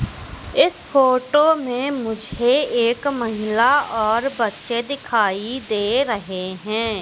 इस फोटो में मुझे एक महिला और बच्चे दिखाई दे रहे हैं।